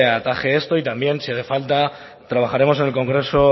ataje esto y también si hace falta trabajaremos en el congreso